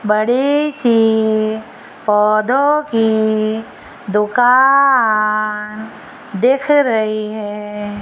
बड़ी सी पौधों की दुकान दिख रही है।